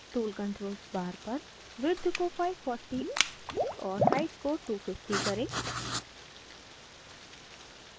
tool controls bar पर width को 540 और height को 250 करें